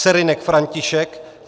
Serynek František